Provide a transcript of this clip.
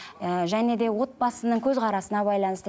ііі және де отбасының көзқарасына байланысты